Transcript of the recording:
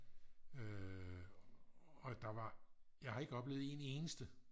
og der var jeg har ikke oplevet en eneste